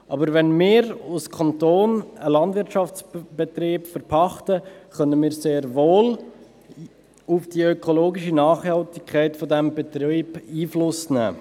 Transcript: Aber wenn wir als Kanton einen Landwirtschaftsbetrieb verpachten, können wir sehr wohl auf die ökologische Nachhaltigkeit dieses Betriebes Einfluss nehmen.